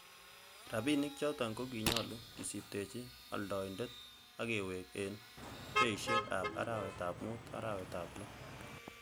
Rabinik choton ko kinyolu kisibtechi oldoindet ak kewek en beishek ab arawetab mut-arawetab loo.